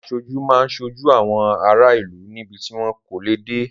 Aṣojú máa ń ṣojú àwọn ará ìlú níbi tí wọn kò lè dé.